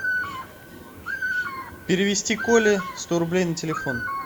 перевести коле сто рублей на телефон